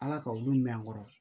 Ala ka olu mɛn n kɔrɔ